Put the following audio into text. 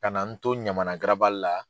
Ka na n to Ɲamana garabali la.